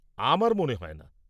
আমার মনে হয় না।